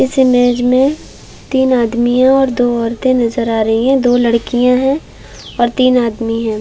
इस इमेज में तीन आदमी और दो औरते नजर आ रही है दो लडकियाँ है और तीन आदमी हैं ।